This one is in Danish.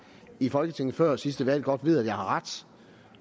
i folketinget før sidste valg godt ved at jeg har ret